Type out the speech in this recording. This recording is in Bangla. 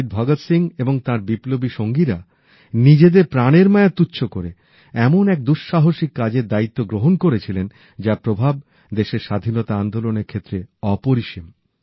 শহীদ ভগৎ সিং এবং তাঁর বিপ্লবী সাথীরা নিজেদের প্রাণের মায়া তুচ্ছ করে এমন এক দুঃসাহসিক কাজের দায়িত্ব গ্রহণ করেছিলেন যার প্রভাব দেশের স্বাধীনতা আন্দোলনের ক্ষেত্রে অপরিসীম